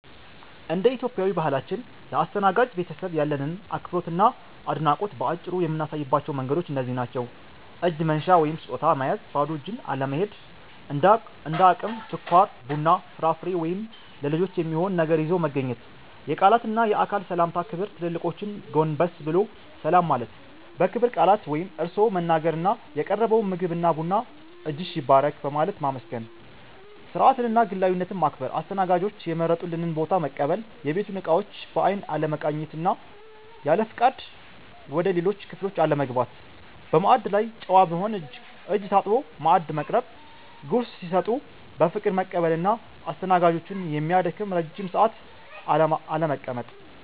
እንደ ኢትዮጵያዊ ባህላችን፣ ለአስተናጋጅ ቤተሰብ ያለንን አክብሮትና አድናቆት በአጭሩ የምናሳይባቸው መንገዶች እነዚህ ናቸው፦ እጅ መንሻ (ስጦታ) መያዝ ባዶ እጅን አለመሄድ፤ እንደ አቅም ስኳር፣ ቡና፣ ፍራፍሬ ወይም ለልጆች የሚሆን ነገር ይዞ መገኘት። የቃላትና የአካል ሰላምታ ክብር ትልልቆችን ጎንበስ ብሎ ሰላም ማለት፣ በክብር ቃላት (እርስዎ) መናገር እና የቀረበውን ምግብና ቡና "እጅሽ ይባረክ" በማለት ማመስገን። ስርዓትንና ግላዊነትን ማክበር አስተናጋጆች የመረጡልንን ቦታ መቀበል፣ የቤቱን እቃዎች በአይን አለመቃኘት እና ያለፍቃድ ወደ ሌሎች ክፍሎች አለመግባት። በማዕድ ላይ ጨዋ መሆን እጅ ታጥቦ ማዕድ መቅረብ፣ ጉርስ ሲሰጡ በፍቅር መቀበል እና አስተናጋጆችን የሚያደክም ረጅም ሰዓት አለመቀመጥ።